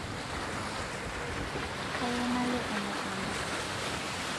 kayieu nalo emukunda